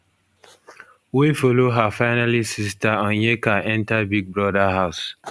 wey follow her finalist sister onyeka enta big brother house